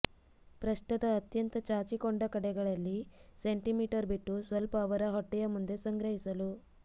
ಪೃಷ್ಠದ ಅತ್ಯಂತ ಚಾಚಿಕೊಂಡ ಕಡೆಗಳಲ್ಲಿ ಸೆಂಟಿಮೀಟರ್ ಬಿಟ್ಟು ಸ್ವಲ್ಪ ಅವರ ಹೊಟ್ಟೆಯ ಮುಂದೆ ಸಂಗ್ರಹಿಸಲು